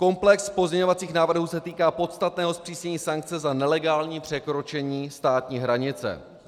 Komplex pozměňovacích návrhů se týká podstatného zpřísnění sankce za nelegální překročení státní hranice.